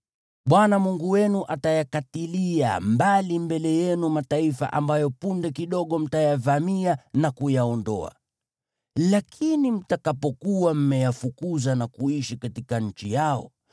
Bwana Mungu wenu atayakatilia mbali mbele yenu mataifa ambayo punde kidogo mtayavamia na kuyaondoa. Lakini mtakapokuwa mmeyafukuza na kuishi katika nchi yao,